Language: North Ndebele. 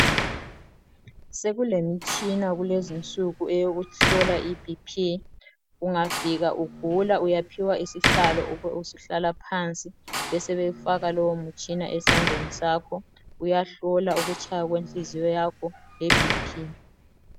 Sekulemtshina kulezinsuku eyokuhlola iBP. Ungafika ugula uyaphiwa isihlalo ube usuhlala phansi, besebefaka lowo mtshina esandleni sakho. Uyahlola ukutshaya kwenhliziyo yakho leBP.